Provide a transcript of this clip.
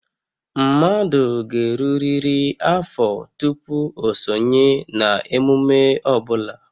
Mmadụ ga-erurịrị afọ tupu o sonye na emume ọ bụla